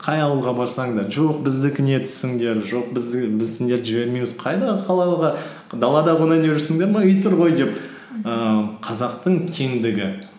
қай ауылға барсаң да жоқ біздікіне түсіңдер жоқ біз сендерді жібермейміз қайдағы далада қонайын деп жүрсіңдер ме үй тұр ғой деп ііі қазақтың кеңдігі